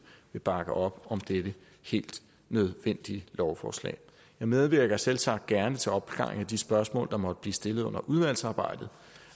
vil bakke op dette helt nødvendige lovforslag jeg medvirker selvsagt gerne til opklaringen af de spørgsmål der måtte blive stillet under udvalgsarbejdet